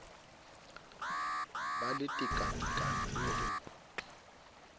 be le tekatekano le ho